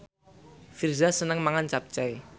Virzha seneng mangan capcay